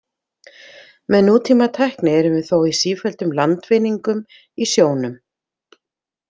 Með nútímatækni erum við þó í sífelldum „landvinningum“ í sjónum.